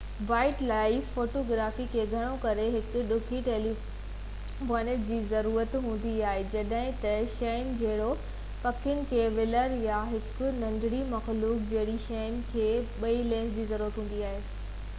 wild life photography کي گهڻو ڪري هڪ ڊگهي ٽيليفوٽو لينس جي ضرورت هوندي آهي جڏهن ته شين جهڙوڪ پکين جي ولر يا هڪ ننڍڙي مخلوق جهڙين شين کي ٻئي لينس جي ضرورت هوندي آهي